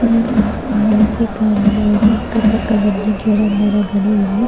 ಮೂ ಮೂರ್ತಿ ಕಾಣ್ತಾ ಇದೆ ಅಕ್ಕ ಪಕ್ಕದಲ್ಲಿ ಗಿಡ ಮರಗಳು ಇವೆ.